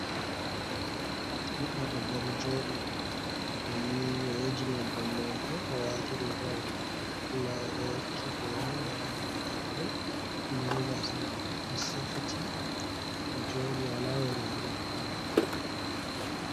Ɓiɗdo debba ɗo joɗi o wuji nyebbam mako o wati rigawol mako nda oɗo wacki boro ha dou dande den gasa mako ɗo safiti oɗo jodi wala yeri ha nappi mako.